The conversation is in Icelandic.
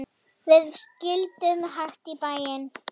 Við sigldum hægt í bæinn.